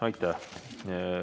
Aitäh!